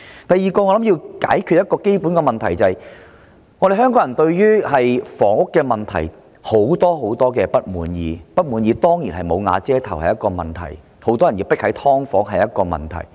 第二，我想談談一個基本的問題，那便是香港人對房屋問題抱有很多不滿，"無瓦遮頭"當然是一個問題、很多人迫於居住在"劏房"中也是一個問題。